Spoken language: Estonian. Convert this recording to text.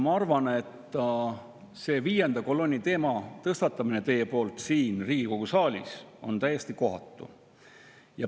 Ma arvan, et viienda kolonni teema tõstatamine siin Riigikogu saalis on täiesti kohatu.